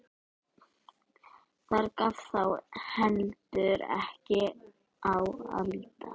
Þar gaf þá heldur en ekki á að líta.